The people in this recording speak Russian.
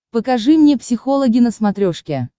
покажи мне психологи на смотрешке